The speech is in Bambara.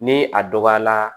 Ni a dɔgɔyala